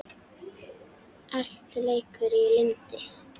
Allt leikur í lyndi.